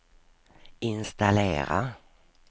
installera